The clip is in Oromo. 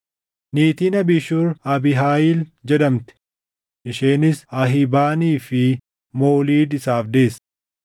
Niitiin Abiishur Abiihaayil jedhamti; isheenis Ahibaanii fi Mooliid isaaf deesse.